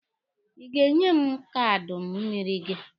Ị ga-enye m kaanụ mmịrị gị?